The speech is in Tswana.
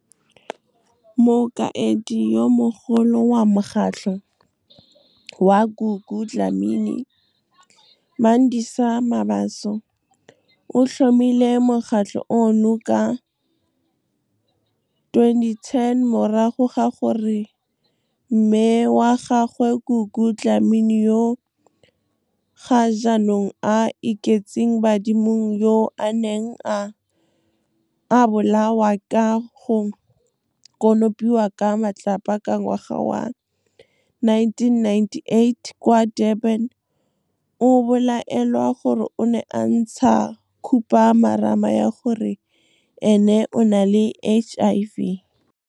Mokaedi yo Mogolo wa Mokgatlho wa Gugu Dlamini, Mandisa Mabaso, o tlhomile mokgatlho ono ka 2010 morago ga gore mme wa gagwe - Gugu Dlamini yo ga jaanong a iketseng badimong - yo a neng a a bolawa ka go konopiwa ka matlapa ka ngwaga wa 1998 kwa Durban a bolaelwa gore o ne a ntsha khupamarama ya gore ene o na le HIV. Mokaedi yo Mogolo wa Mokgatlho wa Gugu Dlamini, Mandisa Mabaso, o tlhomile mokgatlho ono ka 2010 morago ga gore mme wa gagwe - Gugu Dlamini yo ga jaanong a iketseng badimong - yo a neng a a bolawa ka go konopiwa ka matlapa ka ngwaga wa 1998 kwa Durban a bolaelwa gore o ne a ntsha khupamarama ya gore ene o na le HIV.